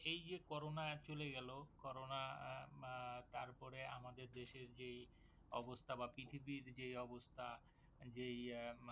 এই যে corona চলে গেলো corona উম আহ তারপরে আমাদের দেশের যেই অবস্থা বা পৃথিবীর যেই অবস্থা, যেই আহ মানে